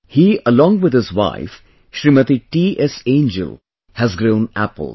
He along with his wife Shrimati T S Angel has grown apples